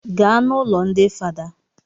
Gaa n'ụlọ ndi fada